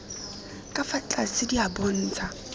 ka fa tlase di bontsha